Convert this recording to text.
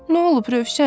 Nə olub, Rövşən?